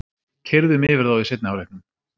Keyrðum yfir þá í seinni hálfleiknum